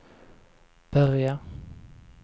börja